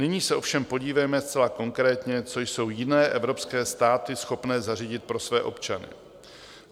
Nyní se ovšem podívejme zcela konkrétně, co jsou jiné evropské státy schopné zařídit pro své občany.